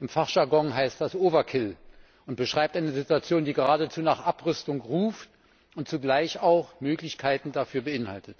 Im Fachjargon heißt das Overkill und beschreibt eine Situation, die geradezu nach Abrüstung ruft und zugleich auch Möglichkeiten dafür beinhaltet.